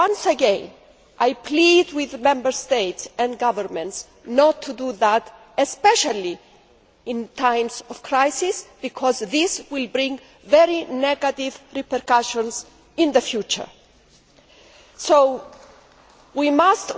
Once again, I plead with the Member States and governments not to do that, especially in times of crisis, because this will have very negative repercussions in the future. We must